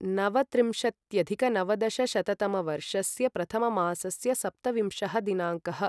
नवत्रिंशत्यधिकनवदशशततमवर्षस्य प्रथममासस्य सप्तविंशः दिनाङ्कः